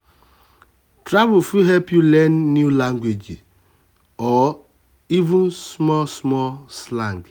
travel fit help you learn new language or even small small slang.